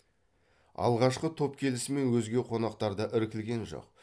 алғашқы топ келісімен өзге қонақтар да іркілген жоқ